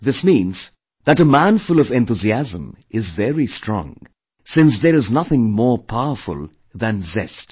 This means that a man full of enthusiasm is very strong since there is nothing more powerful than zest